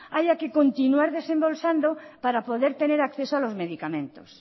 haya que continuar desembolsando para poder tener acceso a los medicamentos